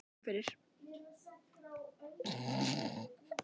Við skálum fyrir